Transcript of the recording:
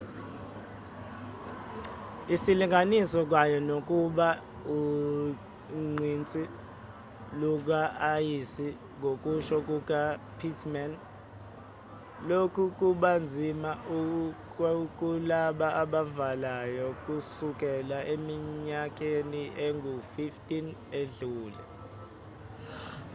isilinganiso kanye nokuba ugqinsi luka-ayisi ngokusho kuka pittman lokhu kubanzima kulaba abavalayo kusukela eminyakeni engu-15 edlule